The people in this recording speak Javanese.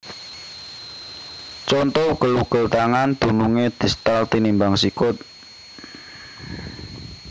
Conto Ugel ugel tangan dunungé distal tinimbang sikut